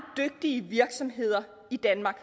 dygtige virksomheder i danmark